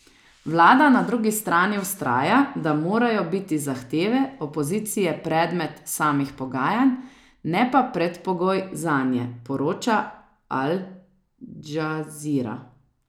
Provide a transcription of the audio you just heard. Vlada na drugi strani vztraja, da morajo biti zahteve opozicije predmet samih pogajanj, ne pa predpogoj zanje, poroča Al Džazira.